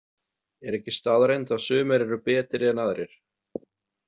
Er ekki staðreynd að sumir eru betri en aðrir?